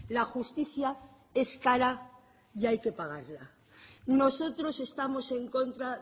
la justicia es cara y hay que pagarla nosotros estamos en contra